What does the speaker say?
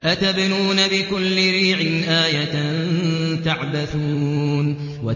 أَتَبْنُونَ بِكُلِّ رِيعٍ آيَةً تَعْبَثُونَ